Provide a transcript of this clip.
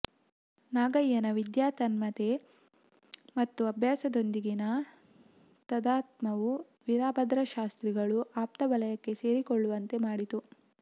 ನಾಗಯ್ಯನ ವಿದ್ಯಾ ತನ್ಮಯತೆ ಮತ್ತು ಅಭ್ಯಾಸದೊಂದಿಗಿನ ತಾದಾತ್ಮ್ಯವು ವೀರಭದ್ರಶಾಸ್ತ್ರಿಗಳು ಆಪ್ತವಲಯಕ್ಕೆ ಸೇರಿಕೊಳ್ಳುವಂತೆ ಮಾಡಿತು